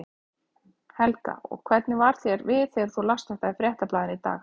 Helga: Og hvernig varð þér við þegar þú last þetta í Fréttablaðinu í dag?